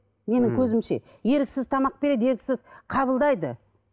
менің көзімше еріксіз тамақ береді еріксіз қабылдайды